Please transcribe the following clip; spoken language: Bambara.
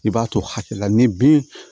I b'a to hakɛ la ni bin